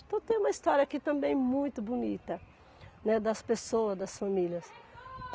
Então tem uma história aqui também muito bonita, né, das pessoas, das famílias.